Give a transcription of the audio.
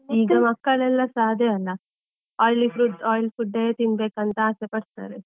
ಈಗ ಮಕ್ಕಳೆಲ್ಲ ಸಾ ಅದೇ ಅಲ್ಲಾ, oily frud~ oily food ಏ ತಿನ್ಬೇಕಂತ ಆಸೆ ಪಡ್ತಾರೆ.